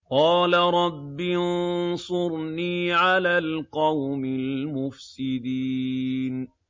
قَالَ رَبِّ انصُرْنِي عَلَى الْقَوْمِ الْمُفْسِدِينَ